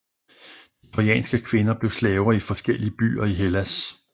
De trojanske kvinder blev slaver i forskellige byer i Hellas